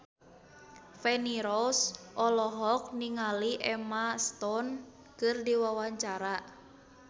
Feni Rose olohok ningali Emma Stone keur diwawancara